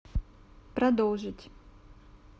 продолжить